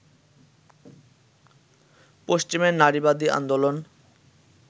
পশ্চিমের নারীবাদী আন্দোলন